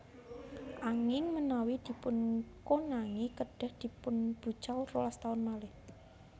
Anging menawi dipunkonangi kedhah dipunbucal rolas taun malih